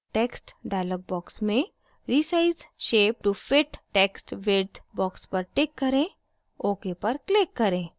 text dialog box में resize shape to fit text width box पर tick करें ok पर click करें